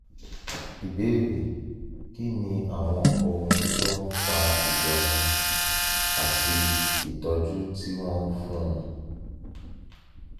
ìbéèrè: kí ni àwọn ohun tó ń fa ìyọnu àti ìtọ́jú tí wọ́n ń fúnni?